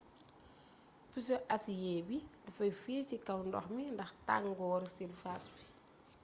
puso asiyee bi dafay feey ci kaw ndox mi ndax tangooru sirfaas bi